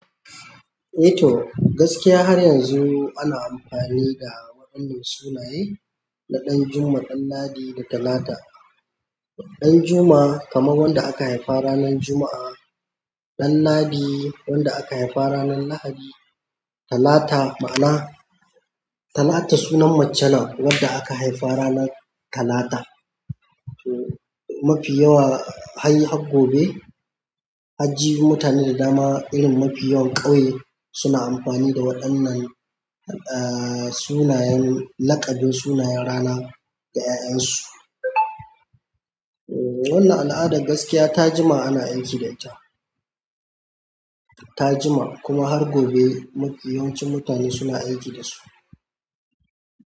Eh to, gaskiya har yanzu ana amfani da waɗannan sunaye na Ɗanjuma, Ɗanladi, da Talata. Ɗanjuma kamar wanda aka haifa ranar Juma'a. Ɗanladi wanda aka haifa ranar Lahadi. Talata ma'ana Talata sunan mace ne wadda aka haifa ranar Talata. Mafi yawa har gobe, anji mutane da dama irin mafi yawan ƙauye suna amfani da waɗannan sunayen, laƙabin sunayen rana ga 'ya'yan su. Wannan al'adar gaskiya ta jima ana aiki da ita. Ta jima kuma har gobe yawancin mutane suna aiki da su.